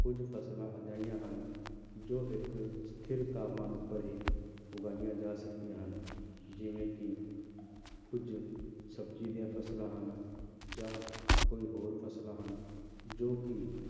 ਕੁੱਝ ਫ਼ਸਲਾਂ ਅਜਿਹੀਆਂ ਹਨ ਜੋ ਇੱਕ ਸਥਿਰ ਤਾਪਮਾਨ ਉੱਪਰ ਹੀ ਉਗਾਈਆਂ ਜਾ ਸਕਦੀਆਂ ਹਨ, ਜਿਵੇਂ ਕਿ ਕੁੱਝ ਸਬਜ਼ੀ ਦੀਆਂ ਫ਼ਸਲਾਂ ਹਨ ਜਾਂ ਕੋਈ ਹੋਰ ਫ਼ਸਲਾਂ ਹਨ, ਜੋ ਕਿ